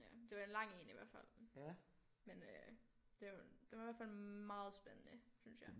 Ja det var en lang en i hvert fald men øh det var den var i hvert fald meget spændende synes jeg